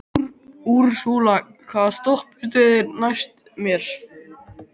Úrsúla, hvaða stoppistöð er næst mér?